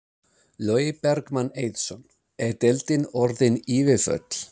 Logi Bergmann Eiðsson: Er deildin orðin yfirfull?